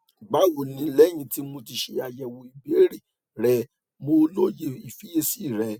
bawo ni lẹhin ti mo ti ṣe ayẹwo ibeere rẹ mo loye ifiyesi rẹ